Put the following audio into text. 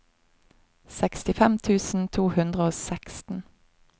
sekstifem tusen to hundre og seksten